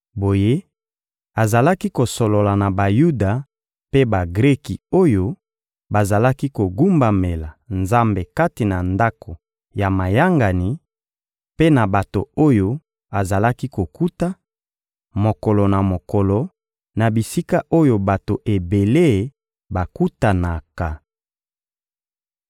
Boye, azalaki kosolola na Bayuda mpe Bagreki oyo bazalaki kogumbamela Nzambe kati na ndako ya mayangani, mpe na bato oyo azalaki kokuta, mokolo na mokolo, na bisika oyo bato ebele bakutanaka.